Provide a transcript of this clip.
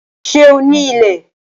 Sé o ní ilẹ̀?